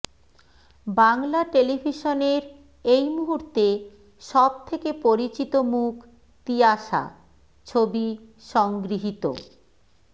বাংলা টেলিভিশনের এই মুহূর্তে সব থেকে পরিচিত মুখ তিয়াশা ছবি সংগৃহীত